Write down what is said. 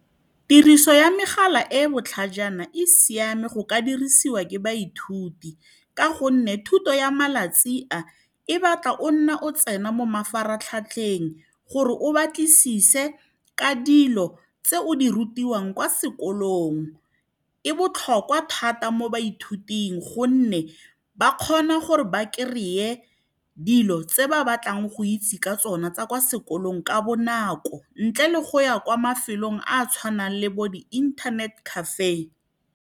Tiriso ya megala e e botlhajana e siame go ka dirisiwa ke baithuti, ka gonne thuto ya malatsi a e batla o nna o tsena mo mafaratlhatlheng gore o batlisise ka dilo tse o di rutiwang kwa sekolong. E botlhokwa thata mo baithuting, gonne ba kgona gore ba kry-e dilo tse ba batlang go itse ka tsona tsa kwa sekolong ka bonako, ntle le go ya kwa mafelong a a tshwanang le bo di-internet cafe.